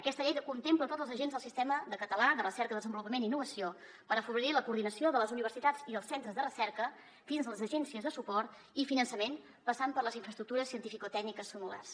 aquesta llei contempla tots els agents del sistema català de recerca desenvolupament i innovació per afavorir la coordinació de les universitats i els centres de recerca fins a les agències de suport i finançament passant per les infraestructures cientificotècniques similars